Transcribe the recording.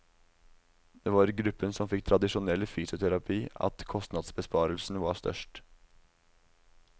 Det var i gruppen som fikk tradisjonell fysioterapi at kostnadsbesparelsen var størst.